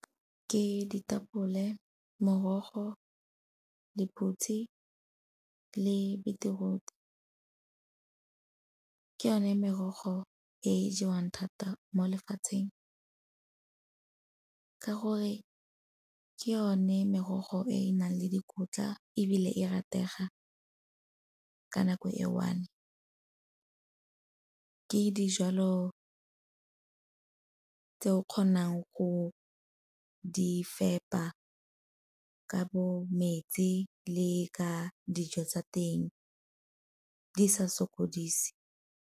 Ke ditapole, morogo, lephutsi le beetroot. Ke yone merogo e jewang thata mo lefatsheng ka gore ke yone merogo e e nang le dikotla ebile e ratege ka nako e one. Ke dijalo tse o kgonang go di fepa ka bo metsi le ka dijo tsa teng di sa sokodise.